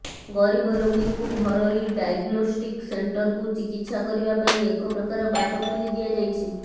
ଗରିବ ରୋଗୀଙ୍କୁ ଘରୋଇ ଡାଇଗ୍ନୋଷ୍ଟିକ୍ ସେଣ୍ଟରକୁ ଚିକିତ୍ସା କରିବା ପାଇଁ ଏକପ୍ରକାର ବାଟ ଖୋଲି ଦିଆଯାଇଛି